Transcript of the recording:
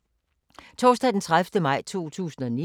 Torsdag d. 30. maj 2019